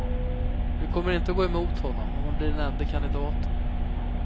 Vi kommer inte att gå emot honom om han blir den ende kandidaten.